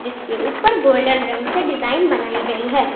इसके ऊपर गोल्डन रंग से डिजाइन बनाई गई है।